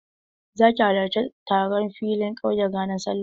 Za ki halarci taron filin ƙauya ranar Sallah?